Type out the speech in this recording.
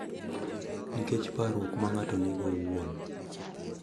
Nikech parruok ma ng’ato nigo owuon.